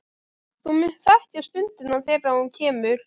Þú munt þekkja stundina þegar hún kemur.